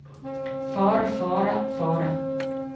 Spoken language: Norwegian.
fare fare fare